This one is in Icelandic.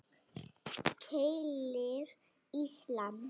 Keilir, Ísland.